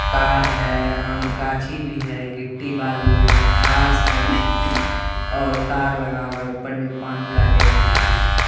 Car है आ आम गाछी भी है गिट्टी बालू है घास है और तार लगा हुआ है। ऊपर में पानी का टैंकी है।